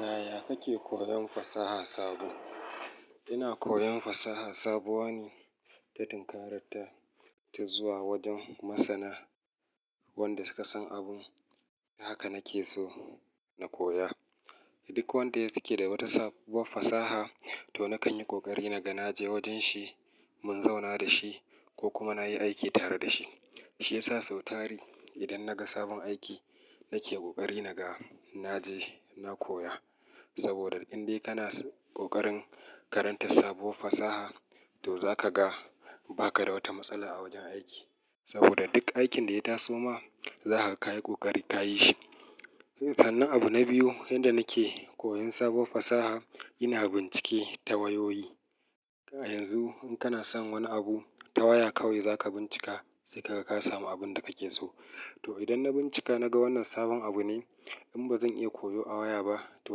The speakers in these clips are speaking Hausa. Yaya kake koyon fasaha sabo? Ina koyon fasaha sabuwa ne ta tunkarar ta, ta zuwa wajen masana wanda suka san abun haka nake so na koya. Duk wanda yake da wata sabuwar fasaha to nakan yi kokari naga naje wajen shi, mun zauna da shi ko kuma nayi aiki tare da shi. Shi yasa sau tari idan naga sabon aiki nake kokari naga naje na koya. Saboda in dai kana ƙoƙarin karantar sabuwar fasaha to zaka ga ba ka da wata matsala a wajen aiki. Saboda duk aikin da ya taso ma zakaga kayi kokari kayi shi. Sannan abu na biyu yanda nake koyan sabuwar fasaha ina bincike ta wayoyi. A yanzu in kana son wani abu ta waya kawai zaka bincika sai ka ga ka samu abun da kake so. To idan na bincika naga wannan sabon abu ne in bazan iya koyo a waya ba to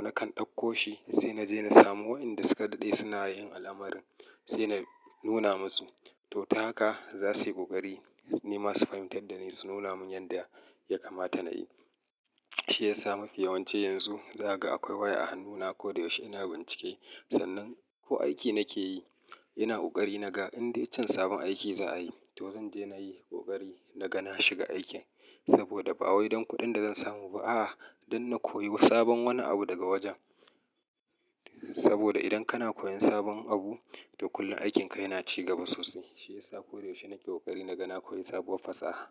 nakan ɗauko shi sai naje na samu wa'inda suka daɗe suna yin al'amarin sai na nuna musu. To ta haka zasu yi kokari, ni ma su fahimtar da ni su nuna mun yanda ya kamata nayi. Shi yasa mafi yawanci yanzu zaka ga akwai waya a hannuna. Koda yaushe ina bincike. Sannan ko aiki nake yi ina kokari naga indai can sabon aiki za'a yi to zan je nayi kokari naga na shiga aikin. Saboda ba wai don kuɗin da zan samu ba a'a don na koyi sabon wani abu daga wajen. Saboda idan kana koyan sabon abu to kullum aikinka yana ci gaba sosai. Shi yasa ko da yaushe nake kokari naga na koyi sabuwar fasaha.